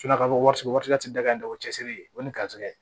daga in da o cɛsiri o ni karisa ye